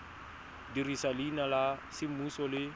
dirisa leina la semmuso le